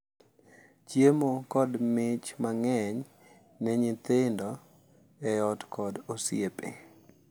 Chiemo, kod mich mang’eny ne nyithindo e ot kod osiepe.